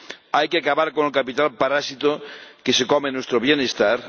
Hay que acabar con el capital parásito que se come nuestro bienestar.